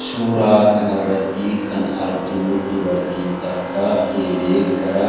Suuraa kana irratti kan arginu, dubartiin takka eelee gara